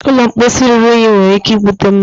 ụlọ mposi ruru unyi nwere ike ibute mmadụ